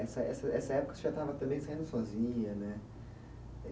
Essa essa essa época você já estava também saindo sozinha, né?